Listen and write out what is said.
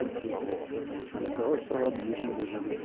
он плюс тридцать она такая ой все ладно бежим бежим